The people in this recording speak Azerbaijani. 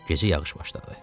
Gecə yağış başladı.